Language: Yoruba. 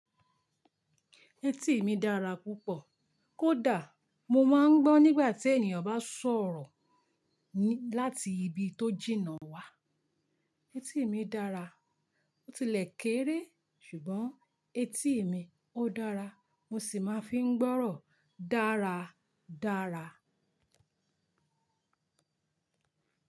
Etí mi dára púpọ̀, kó dà, mo máa ń gbọ́n nígbà tí ènìyàn bá sọ̀rọ̀ láti ibi tó jìnnà wá. Etí mi dára, ó tilẹ̀ kéré ṣùgbọ́n etí mi ó dára, mo sì máa fi ń gbọ́rọ̀ dára dára.